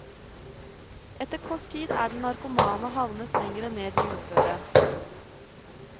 Etter kort tid er den narkomane havnet lenger ned i uføret.